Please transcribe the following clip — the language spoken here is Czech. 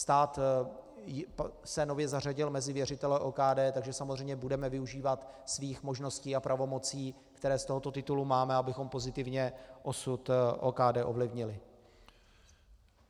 Stát se nově zařadil mezi věřitele OKD, takže samozřejmě budeme využívat svých možností a pravomocí, které z tohoto titulu máme, abychom pozitivně osud OKD ovlivnili.